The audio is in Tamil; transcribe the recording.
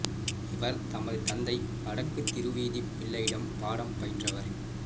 இவர் தமது தந்தை வடக்கு திருவீதி பிள்ளையிடம் பாடம் பயின்றவர்